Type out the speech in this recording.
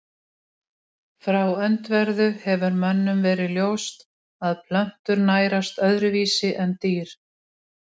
Frá öndverðu hefur mönnum verið ljóst að plöntur nærast öðruvísi en dýr.